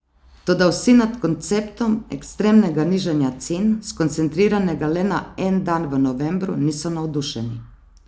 Toda vsi nad konceptom ekstremnega nižanja cen, skoncentriranega le na en dan v novembru, niso navdušeni.